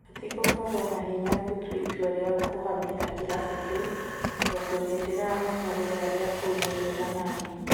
" Hetigũkorwo na hinya gũtua itua rĩa kũhamĩra kĩrabu kĩu, tondũ nĩ ndĩramenya rĩera rĩa kũu nĩriega naniĩ.